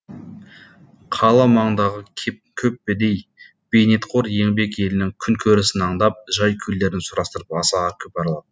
қала маңындағы көп кедей бейнетқор еңбек елінің күнкөрісін андап жай күйлерін сұрастырып аса көп аралады